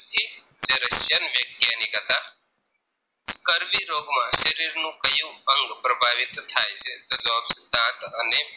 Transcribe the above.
રોગમાં શરીરનું ક્યુ અંગ પ્રભાવિત થાય છે તો જવાબ છે દાંત અને